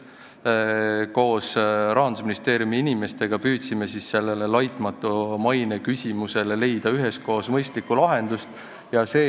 Koos Rahandusministeeriumi inimestega püüdsime siis sellele laitmatu maine küsimusele mõistlikku lahendust leida.